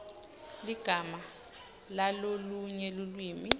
ligama lalolunye lulwimi